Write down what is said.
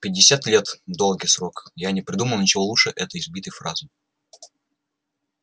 пятьдесят лет долгий срок я не придумал ничего лучше этой избитой фразы